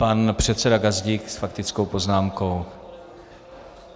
Pan předseda Gazdík s faktickou poznámkou.